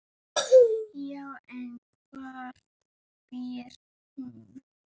Já, en hvar býr hún?